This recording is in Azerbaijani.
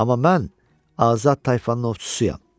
Amma mən azad tayfanın ovçusuyam.